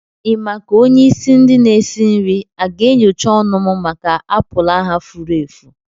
Ị ma ka onye isi ndi n'esi nri a ga-enyocha ọnụ m maka apụlụ ahu fúrú èfù?